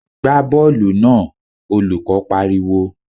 Gbá bọ́ọ̀lù náà! Olùkó I pariwo.